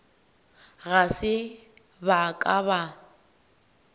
ga se ba ka ba